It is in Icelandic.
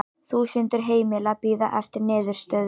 Þúsundir heimila bíði eftir niðurstöðu